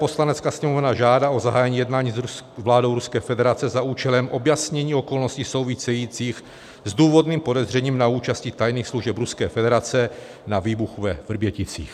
Poslanecká sněmovna žádá o zahájení jednání s vládou Ruské federace za účelem objasnění okolností souvisejících s důvodným podezřením na účasti tajných služeb Ruské federace na výbuchu ve Vrběticích."